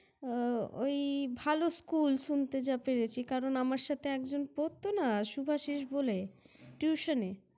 উহ ওই ভালো School শুনতে যা পেরেছি। কারণ আমার সাথে একজন পড়ত না শুভাশিষ বলে Tution -এ?